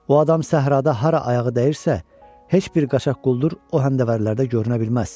O adam səhrada hara ayağı dəyirsə, heç bir qaçaq quldur o həndəvərlərdə görünə bilməz.